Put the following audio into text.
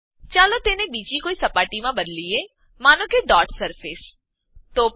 ચાલો તેને બીજી કોઈ સપાટીમાં બદલીએ માનો કે ડોટ સરફેસ ડોટ સરફેસ